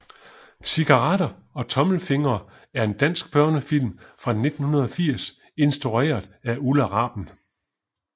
Cigaretter og tommelfingre er en dansk børnefilm fra 1980 instrueret af Ulla Raben